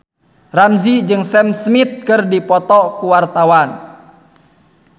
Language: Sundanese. Ramzy jeung Sam Smith keur dipoto ku wartawan